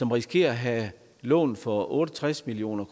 risikerer at have lån for otte og tres million